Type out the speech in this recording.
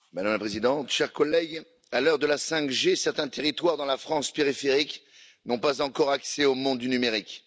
Madame la Présidente, chers collègues, à l'heure de la 5G, certains territoires dans la France périphérique n'ont pas encore accès au monde du numérique.